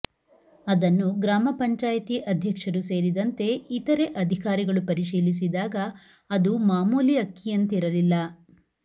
ಅದನ್ನು ಗ್ರಾಮ ಪಂಚಾಯಿತಿ ಅಧ್ಯಕ್ಷರು ಸೇರಿದಂತೆ ಇತರೆ ಅಧಿಕಾರಿಗಳು ಪರಿಶೀಲಿಸಿದಾಗ ಅದು ಮಾಮೂಲಿ ಅಕ್ಕಿಯಂತಿರಲಿಲ್ಲ